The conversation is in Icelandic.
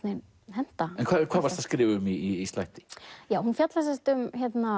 henta hvað varstu að skrifa um í slætti hún fjallar um